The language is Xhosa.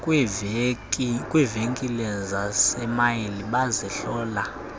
kwiivenkile zasemall bazihlola